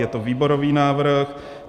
Je to výborový návrh.